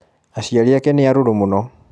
aciari ake nĩarũrũ mũno.